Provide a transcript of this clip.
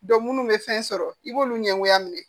munnu bɛ fɛn sɔrɔ i b'olu ɲɛngoya minɛ